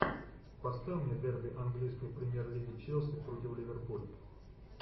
поставь мне дерби английской премьер лиги челси против ливерпуль